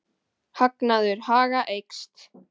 Hagnaður Haga eykst